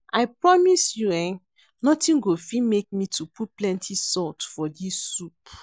I promise you eh nothing go fit make me to put plenty salt for dis soup